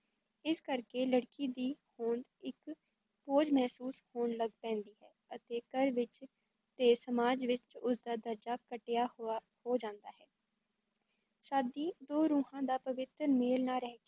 ਇਸ ਕਰ ਕੇ ਲੜਕੀ ਦੀ ਹੋਂਦ ਇਕ ਬੋਝ ਮਹਿਸੂਸ ਹੋਣ ਲੱਗ ਪੈਂਦੀ ਹੈ ਅਤੇ ਘਰ ਵਿਚ ਤੇ ਸਮਾਜ ਵਿੱਚ ਉਸ ਦਾ ਦਰਜਾ ਘਟੀਆ ਹੋਆ ਹੋ ਜਾਂਦਾ ਹੈ ਸ਼ਾਦੀ ਦੋ ਰੂਹਾਂ ਦਾ ਪਵਿੱਤਰ ਮੇਲ ਨਾ ਰਹਿ